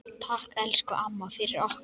Takk, elsku amma, fyrir okkur.